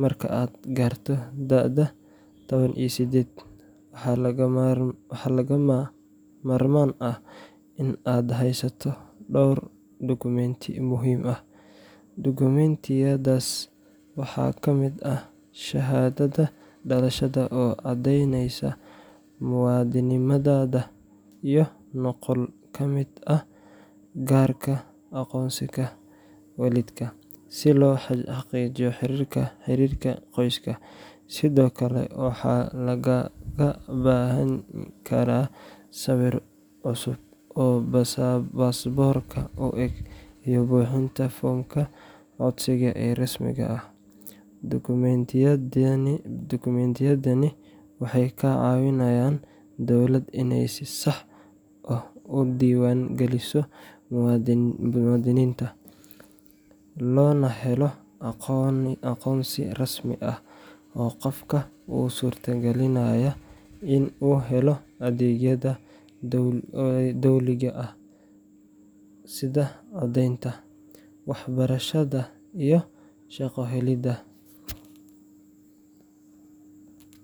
marka aad gaarto da’da toban iyo sided, waxaa lagama maarmaan ah in aad haysato dhowr dukumiinti muhiim ah. Dukumiintiyadaas waxaa ka mid ah shahaadada dhalashada oo caddeynaysa muwaadinimadaada, iyo nuqul ka mid ah kaarka aqoonsiga waalidka, si loo xaqiijiyo xiriirka qoyska. Sidoo kale, waxaa lagaaga baahan karaa sawir cusub oo baasaboorka u eg iyo buuxinta foomka codsiga ee rasmiga ah. Dukumiintiyadani waxay ka caawinayaan dowladda inay si sax ah u diiwaan geliso muwaadiniinta, loona helo aqoonsi rasmi ah oo qofka u suurtagelinaya in uu helo adeegyada dowliga ah sida codeynta, waxbarashada iyo shaqo helidda.